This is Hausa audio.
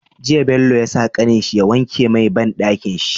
Jiya Bello ya sa kanin shi ya wanke mai banɗakin shi